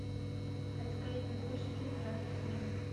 поисковик найди лучшие фильмы в жанре семейный